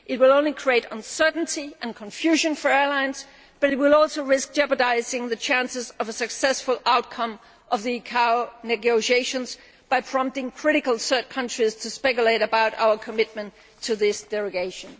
It would only create uncertainty and confusion for airlines and would also risk jeopardising the chances of a successful outcome of the ICAO negotiations by prompting critical third countries to speculate about our commitment to this derogation.